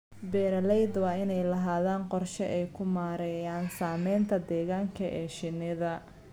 Beeralayda waa inay lahaadaan qorshe ay ku maareeyaan saamaynta deegaanka ee shinnida.